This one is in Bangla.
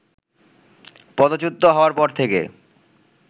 পদচ্যুত হওয়ার পর থেকে